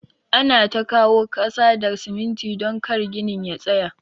Ana ta kawo kasa da siminti don kar ginin ya tsaya.